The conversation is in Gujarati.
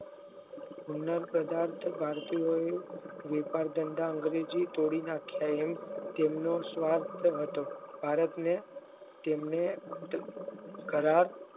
hite પદાર્થ બારસો એ મોટા ધંધા અંગ્રેજો તોડી નાખ્યા તેમનો સ્વાર્થ હતો ભારતનો તેમનો ઘરાટ